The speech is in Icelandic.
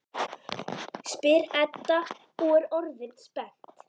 spyr Edda og er orðin spennt.